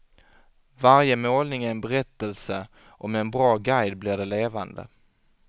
Varje målning är en berättelse och med en bra guide blir de levande.